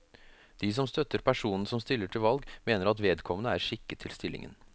De som støtter personen som stiller til valg mener at vedkommende er skikket til stillingen.